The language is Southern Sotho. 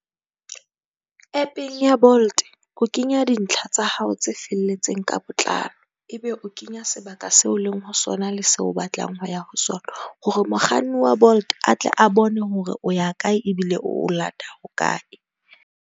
App-ng ya Bolt o kenya dintlha tsa hao tse felletseng ka botlalo ebe o kenya sebaka seo leng ho sona le seo o batlang ho ya ho sona. Hore mokganni wa Bolt a tle a bone hore o ya kae ebile o lata hokae.